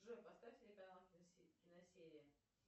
джой поставь телеканал киносерия